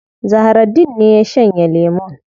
Zahraddeen ne ya shanye lemun.